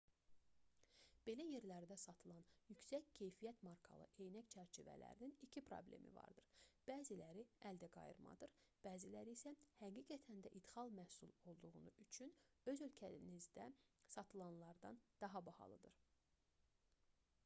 belə yerlərdə satılan yüksək keyfiyyət markalı eynək çərçivələrinin iki problemi vardır bəziləri əldə qayırmadır bəziləri isə həqiqətən də idxal məhsul olduğu üçün öz ölkənizdə satılandan daha bahalıdır